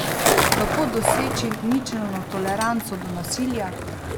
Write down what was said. Kako doseči ničelno toleranco do nasilja?